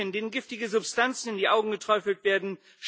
Kaninchen, denen giftige Substanzen in die Augen geträufelt werden